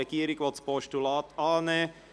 Die Regierung will dieses annehmen.